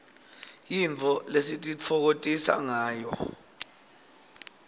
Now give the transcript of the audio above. yintfo lesititfokotisangayo